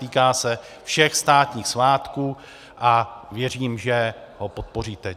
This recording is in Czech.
Týká se všech státních svátků a věřím, že ho podpoříte.